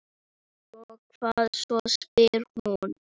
Og hvað svo, spyr hún.